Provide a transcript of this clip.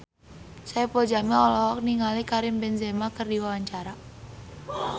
Saipul Jamil olohok ningali Karim Benzema keur diwawancara